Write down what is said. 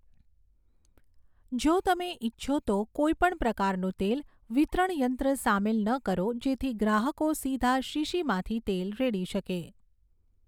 જો તમે ઇચ્છો તો, કોઈપણ પ્રકારનું તેલ વિતરણ યંત્ર સામેલ ન કરો જેથી ગ્રાહકો સીધા શીશીમાંથી તેલ રેડી શકે.